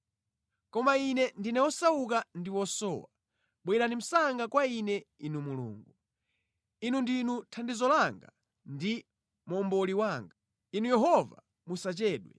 Koma ine ndine wosauka ndi wosowa; bwerani msanga kwa ine Inu Mulungu. Inu ndinu thandizo langa ndi momboli wanga; Inu Yehova musachedwe.